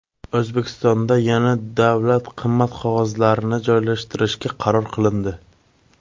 O‘zbekistonda yana davlat qimmat qog‘ozlarini joylashtirishga qaror qilindi .